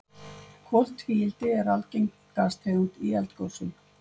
Koltvíildi er algeng gastegund í eldgosum.